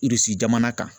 jamana kan